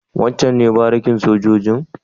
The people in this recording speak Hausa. Wancen ne barikin sojojin?